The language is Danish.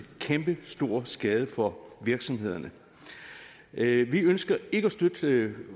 kæmpe stor skade for virksomhederne vi ønsker ikke at støtte